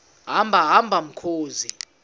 hamba hamba mkhozi